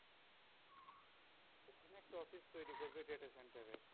অনেক অফিস তৈরী করবে data center এর